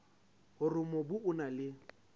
hore mobu o na le